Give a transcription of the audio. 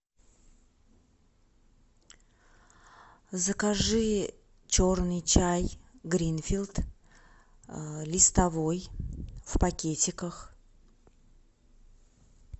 закажи черный чай гринфилд листовой в пакетиках